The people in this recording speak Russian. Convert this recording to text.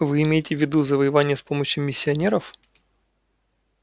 вы имеете в виду завоевание с помощью миссионеров